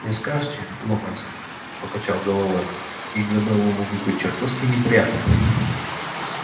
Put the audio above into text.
не скажите локонс покачал головой их забавы могут быть чертовски неприятны